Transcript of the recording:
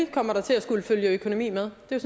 kommer der til at skulle følge økonomi med det er